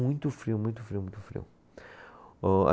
frio, muito frio, muito frio. Ô